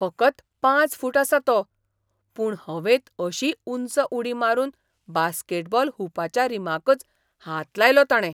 फकत पांच फूट आसा तो. पूण हवेंत अशी उंच उडी मारून बास्केटबॉल हुपाच्या रिमाकच हात लायलो ताणें.